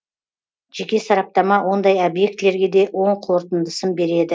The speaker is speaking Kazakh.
жеке сараптама ондай объектілерге де оң қорытындысын береді